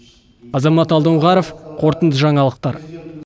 азамат алдоңғаров қорытынды жаңалықтар